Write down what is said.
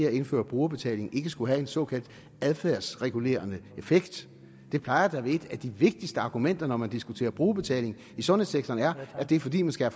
at indføre brugerbetaling ikke skulle have en såkaldt adfærdsregulerende effekt det plejer da at være et af de vigtigste argumenter når man diskuterer brugerbetaling i sundhedssektoren at det er fordi man skal